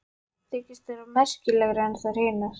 Þykist vera merkilegri en þær hinar.